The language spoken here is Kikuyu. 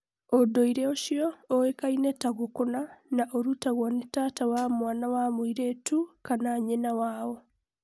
ũndũire ũcio ũĩkaine ta 'gukuna', na ũrũtagwo nĩ tata wa mwana wa mũirĩtũ kana nyina wao